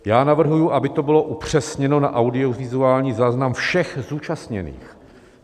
Já navrhuji, aby to bylo upřesněno na audiovizuální záznam všech zúčastněných.